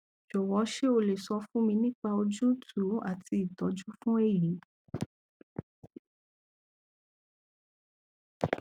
jọwọ ṣé o lè sọ fún mi nípa òjútùú àti ìtọjú fún èyí